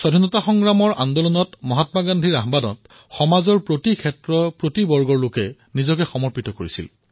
স্বতন্ত্ৰতা সংগ্ৰামৰ আন্দোলনত মহাত্মা গান্ধীৰ আহ্বানত সমাজৰ সকলো ক্ষেত্ৰৰ সকলো বৰ্গৰ লোকে নিজকে সমৰ্পিত কৰিছিল